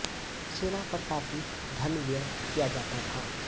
सेना पर काफ़ी धन व्यय किया जाता था